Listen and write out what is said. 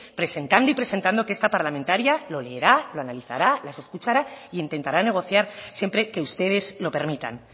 presentando y presentando que esta parlamentaria lo leerá lo analizará les escuchará e intentará negociar siempre que ustedes lo permitan